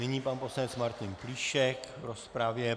Nyní pan poslanec Martin Plíšek v rozpravě.